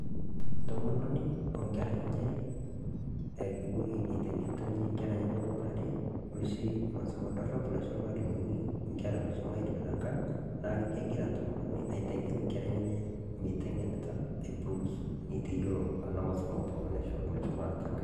Ntomononi o nkerra enye aare akewuon eiteng'enita ninye nkerra enye pukurare noshii masomo doorop nashoo malimuni nkerra meishomo aidip te nkaang. Naa kegira ntomononi aiteng'en nkerra enyenye meiteng'enita. Neteiyeloo anaa mosoomo pooki neishoaki meishomo aas te nkaang.